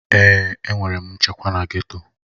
Èè, enwere m nchekwa na geto.